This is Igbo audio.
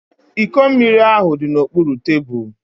Iko mmiri ahu di n'okpuru tebulu